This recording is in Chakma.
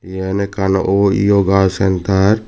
yan ekkan o yoga sentar .